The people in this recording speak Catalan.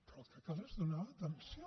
però el que cal és donar atenció